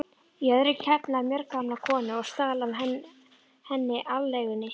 í öðru, KEFLAÐI FJÖRGAMLA KONU OG STAL AF HENNI ALEIGUNNI